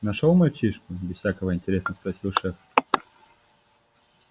нашёл мальчишку без всякого интереса спросил шеф